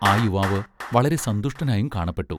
ആ യുവാവ് വളരെ സന്തുഷ്ടനായും കാണപ്പെട്ടു.